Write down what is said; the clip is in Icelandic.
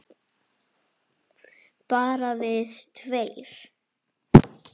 Bara við tveir?